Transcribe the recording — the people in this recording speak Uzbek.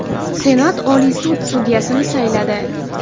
Senat Oliy sud sudyasini sayladi.